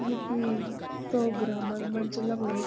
यु क्वि प्रोग्रामक मंच लगणु।